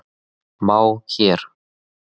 má hér.